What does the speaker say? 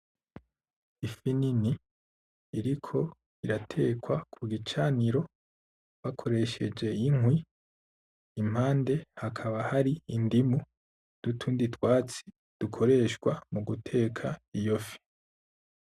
Ifi nini, iriko iratekwa ku gicaniro, bakoresheje inkwi. Impande hakaba hari indimu n'utundi twatsi dukoreshwa mu guteka iyo fi.